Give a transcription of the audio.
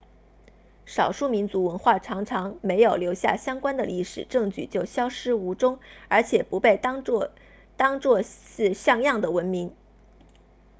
少数民族文化常常没有留下相关的历史证据就消失无踪而且不被当做是像样的文明